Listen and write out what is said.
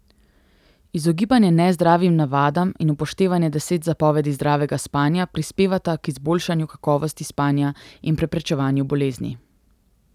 Izogibanje nezdravim navadam in upoštevanje deset zapovedi zdravega spanja prispevata k izboljšanju kakovosti spanja in preprečevanju bolezni.